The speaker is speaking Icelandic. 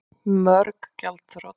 Mörg gjaldþrot